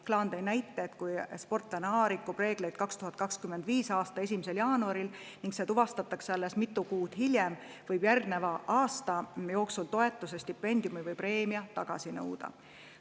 Klaan tõi näite, et kui sportlane A rikub reegleid 2025. aasta 1. jaanuaril ning see tuvastatakse alles mitu kuud hiljem, võib järgneva aasta jooksul toetuse, stipendiumi või preemia tagasi nõuda.